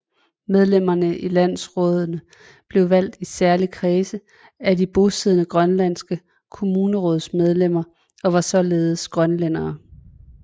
Medlemmerne af landsrådene blev valgt i særlige kredse af de bosiddende grønlandske kommunerådsmedlemmer og var ligeledes grønlændere